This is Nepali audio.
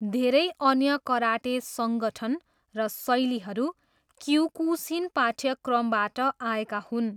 धेरै अन्य कराटे सङ्गठन र शैलीहरू क्योकुसिन पाठ्यक्रमबाट आएका हुन्।